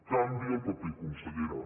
canviï el paper consellera